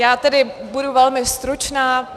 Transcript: Já tedy budu velmi stručná.